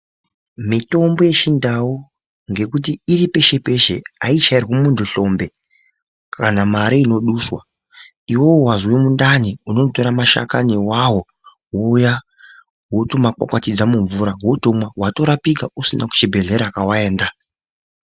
Mitombo yechindau ngekuti iri peshe peshe aichairwi muntu hlombe kana mari inoduswa. Iwewe wazwa mundani unotora mashakani awawo wouya wotomakwatidza mumvura wotomwa watorapika usina kuchibhedhlera kwawaenda.